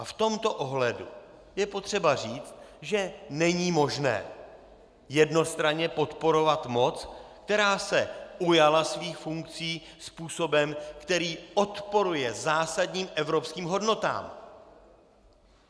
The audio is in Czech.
A v tomto ohledu je potřeba říct, že není možné jednostranně podporovat moc, která se ujala svých funkcí způsobem, který odporuje zásadním evropským hodnotám.